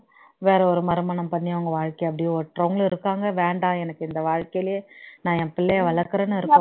வேற ஒரு மறுமணம் பண்ணி அவங்க வாழ்க்கையை அப்படியே ஓட்டுறவங்களும் இருக்காங்க வேண்டாம் எனக்கு இந்த வாழ்க்கைலேயே நான் என் பிள்ளையை வளர்க்கிறேன்னு இருக்குறவங்களும்